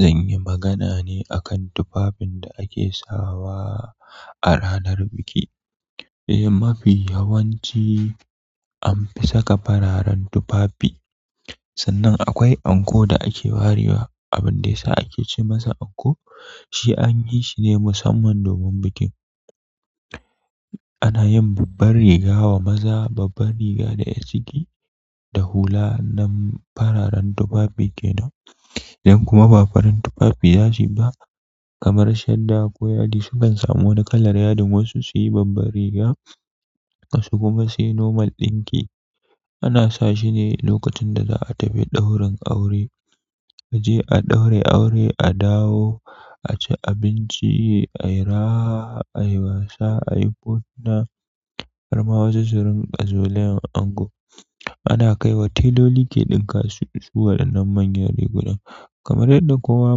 Zan yi magana ne a kan tufafin da ake sawa a ranar biki. Eh, mafi yawanci an fi saka fararen tufafi sannan akwai anko da ake warewa. Abin da yasa ake ce masa anko shi anyi shi ne mussaman domin bikin ana yin babban riga wa maza, babban riga da ƴar ciki da hula nan fararen tufafi kenan idan kuma ba farin tufafi za su yi ba kamar shadda ko yadi sukan samu wani kalar yadin wasu su yi babbar riga wasu kuma su yi nomal ɗinki. Ana sa shi ne lokacin da za a tafi ɗaurin aure. A je a ɗaura aure, a dawo, a ci abinci, a yi raha, a yi wasa, a yi hotuna. Har ma wasu su rinƙa zolayan ango ana kai wa tailoli ke ɗinka su, su waɗannan manyan rigunan kamar yanda kowa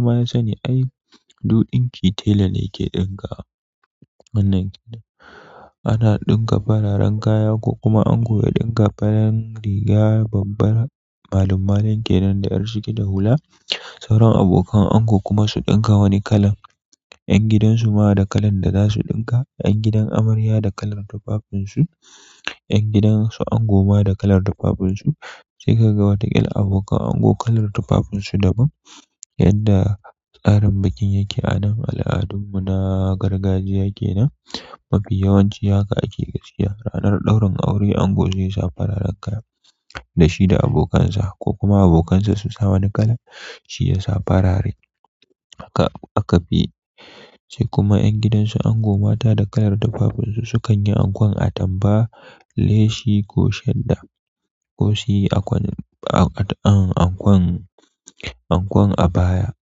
ma ya sani ai du ɗinki tela ne ke ɗinkawa wannan kenan. Ana ɗinka fararen kaya ko kuma ango ya ɗinka faran riga babbar malum malum kenan da yar ciki da hula. Sauran abokan ango kuma su ɗinka wani kalan. Ƴan gidan su ma da kalan da za su ɗinka, yan gidan amarya da kalan tufafin shi, yan gidan su ango ma da kalan tufafin su sai ka ga wataƙil abokan ango kalan tufafin su daban yadda tsarin bikin yake a nan, al'adun mu na gargajiya kenan. Mafi yawanci haka ake gaskiya. Ranar ɗaurin aure ango zai sa fararen kaya da shi da abokansa ko kuma abokansa su sa wani kalan shi ya sa farare haka aka fi yi. Sai kuma ƴan gidansu ango mata da kalar tufafinsu sukan yi ankon atampa, leshi ko shadda ko su yi ankon, an, ankon abaya.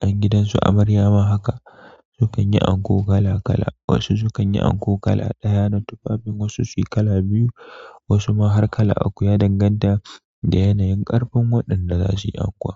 Ƴan gidan su amarya ma haka su kan yi anko kala kala. Wasu su kan yi anko kala ɗaya na tufafin wasu su yi kala biyu wasu ma har kala uku ya danganta da yanayin ƙarfin waɗanda za su yi anko.